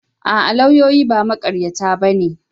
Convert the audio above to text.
A'a, lauyoyi ba maƙaryata ba ne.